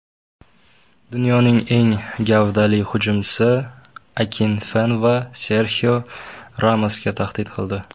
Dunyoning eng gavdali hujumchisi Akinfenva Serxio Ramosga tahdid qildi .